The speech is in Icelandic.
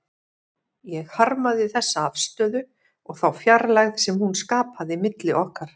Ég harmaði þessa afstöðu og þá fjarlægð sem hún skapaði milli okkar.